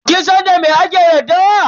Kin san da me ake daddawa?